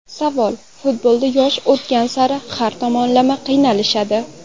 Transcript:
Savol: Futbolda yosh o‘tgan sari har tomonlama qiyinlashadi.